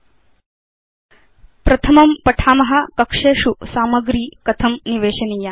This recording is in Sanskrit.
अथ प्रथमं पठाम कक्षेषु सामग्री कथं निवेशनीया